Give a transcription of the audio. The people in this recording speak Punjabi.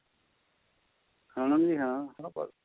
ਹਾਂ ਜੀ ਹਾਂ